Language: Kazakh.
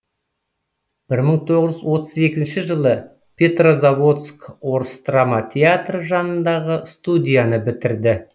бір мың тоғыз жүз отыз екінші жылы петрозаводск орыс драма театры жанындағы студияны бітірді